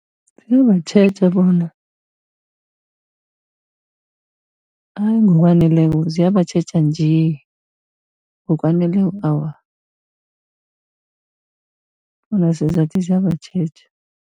Ziyabatjheja bona ayi ngokwaneleko ziyabatjheja nje, ngokwaneleko awa bona sesizakuthi zibatjheja.